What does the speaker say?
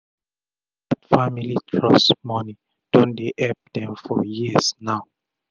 dat family trust moni don dey epp dem for years now